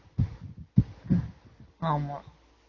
ஆமா